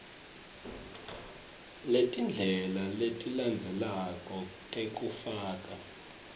letindlela letilandzelako tekufaka